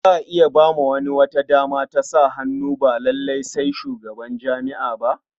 Za a iya ba wani wata dama ta sa hannu ba lalai sai shugaban jami'a ba.